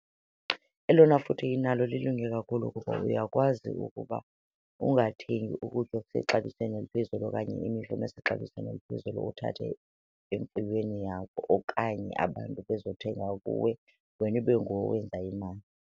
Elona futhe inalo lilunge kakhulu kukuba uyakwazi ukuba ungathengi ukutya okusexabisweni eliphezulu okanye imifuno esexabisweni eliphezulu uthathe emfuyweni yakho, okanye abantu bezothenga kuwe wena ibe nguwe owenza imali.